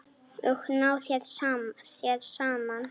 Og ná þeir saman?